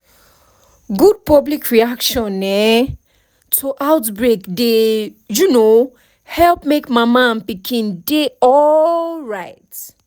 good public reaction um to outbreak dey um help make mama and pikin dey alright